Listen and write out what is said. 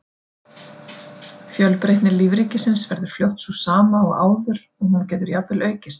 Fjölbreytni lífríkisins verður fljótt sú sama og áður og hún getur jafnvel aukist.